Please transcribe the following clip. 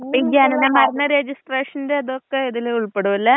ഈ ജനന മരണ രെജിസ്ട്രാഷന്റെ ഇതൊക്കെ ഇതിൽ ഉൾപ്പെടുവല്ലേ.